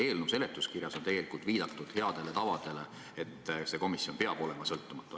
Eelnõu seletuskirjas on tegelikult viidatud heale tavale, et see komisjon peab olema sõltumatu.